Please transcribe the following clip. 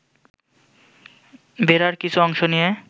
বেড়ার কিছু অংশ নিয়ে